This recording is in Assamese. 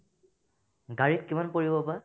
গাড়ীত কিমান পৰিব বা ?